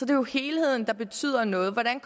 det jo helheden der betyder noget og hvordan